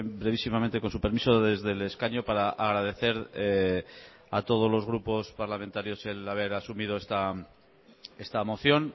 brevísimamente con su permiso desde el escaño para agradecer a todos los grupos parlamentarios el haber asumido esta moción